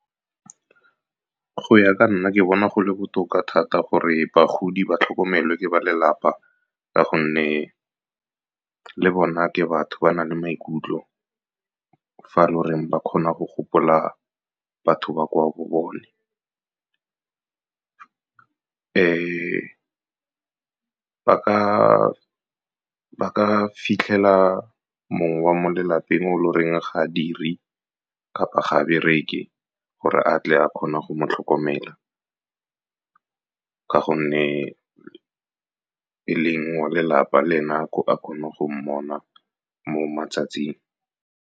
Go ya ka nna, ke bona go le botoka thata gore bagodi ba tlhokomelwa ke ba lelapa, ka gonne le bone ke batho ba na le maikutlo. Fa e le gore ba kgona go gopola batho ba kwa bo bone. Ba ka fitlhela mongwe wa mo lelapeng o lo reng ga badiri kapa ga ba bereke gore a tle a kgone go mo tlhokomela, ka gonne e leng wa lelapa, le nako a kgone go mmona mo matsatsing.